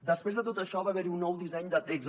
després de tot això va haver hi un nou disseny de text